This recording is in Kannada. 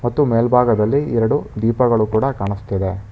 ಮತ್ತು ಮೇಲ್ಭಾಗದಲ್ಲಿ ಎರಡು ದೀಪಗಳು ಕೂಡ ಕಾಣಿಸ್ತಿದೆ.